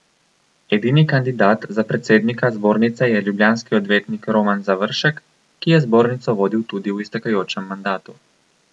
Edini kandidat za predsednika zbornice je ljubljanski odvetnik Roman Završek, ki je zbornico vodil tudi v iztekajočem mandatu.